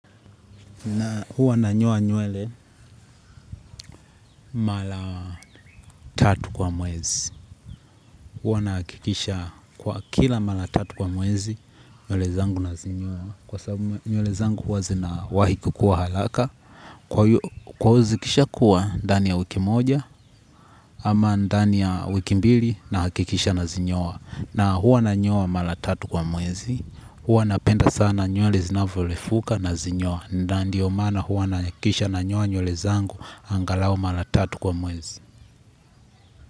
Na huwa nanyoa nywele mara tatu kwa mwezi. Huwa nahakikisha kwa kila mara tatu kwa mwezi, nywele zangu nazinyoa. Kwa sababu nywele zangu huwa zina wahi kukua haraka. Kwa zikishakua ndani ya wiki moja ama ndani ya wiki mbili nahakikisha nazinyoa. Na huwa na nyua mala tatu kwa mwezi. Huwa napenda sana nywele zinavyorefuka nazinyoa. Ndiyo maana huwa nahakikisha nanyoa nywele angalau mara tatu kwa mwezi.